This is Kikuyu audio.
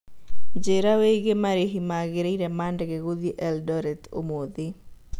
njĩira wĩigie marĩhĩ magĩrĩre ma ndege gũthĩĩ Eldoret ũmũthi